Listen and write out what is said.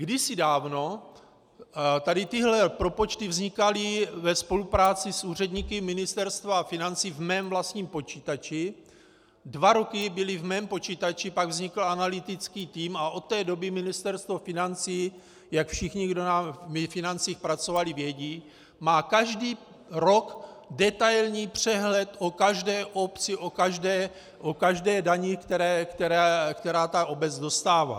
Kdysi dávno tady tyhle propočty vznikaly ve spolupráci s úředníky Ministerstva financí v mém vlastním počítači, dva roky byly v mém počítači, pak vznikl analytický tým a od té doby Ministerstvo financí, jak všichni, kdo ve financích pracovali, vědí, má každý rok detailní přehled o každé obci, o každé dani, která (?) ta obec dostává.